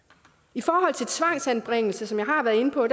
i forhold til tvangsanbringelser som jeg har været inde på